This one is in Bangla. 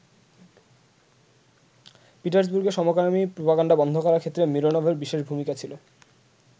পিটার্সবুর্গে সমকামী প্রপাগান্ডা বন্ধ করার ক্ষেত্রে মিরোনোভের বিশেষ ভূমিকা ছিল।